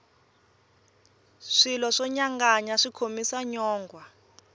swilo swo nyanganya swi khomisa nyongwha